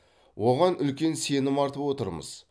оған үлкен сенім артып отырмыз